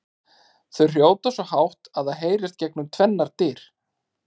Þau hrjóta svo hátt að það heyrist gegnum tvennar dyr!